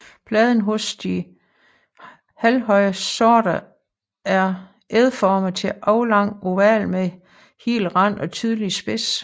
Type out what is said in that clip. Bladene hos de halvhøje sorter er ægformede til aflangt ovale med hel rand og tydelig spids